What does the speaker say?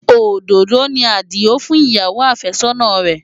Òdòdó ni Adio fún ìyàwó àfẹ́sọ́nà rẹ̀.